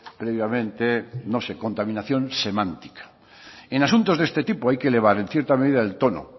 previamente no sé contaminación semántica en asuntos de este tipo hay que elevar en cierta medida el tono